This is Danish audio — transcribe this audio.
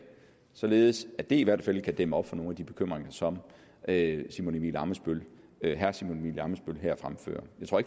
således at det i hvert fald kan dæmme op for nogle af de bekymringer som herre simon emil ammitzbøll her fremfører jeg tror